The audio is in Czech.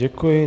Děkuji.